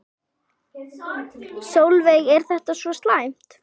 Sólveig: Er þetta svo slæmt?